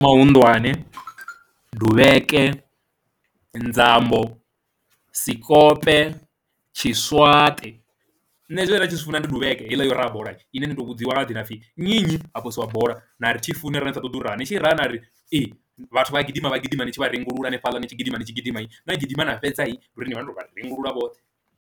Mahunḓwane, duvheke, nzambo, sikope, tshiswaṱe, nṋe zwine nda zwi funa ndi duvheke heiḽa yo raha bola ine ni to vhudziwa nga dzina pfhi nnyi ha posiwa bola na ri thi funi arali ni sa ṱoḓi u raha, ni tshi rahana ri ee vhathu vha a gidima gidima ni tshi vha rengulula hanefhaḽa ni tshi gidima, ni tshi gidima gidima na fhedza ni nduri ni vha ni to vha rengulula vhoṱhe.